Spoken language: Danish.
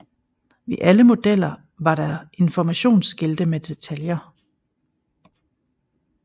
Ved alle modeller var der informationsskilte med detaljer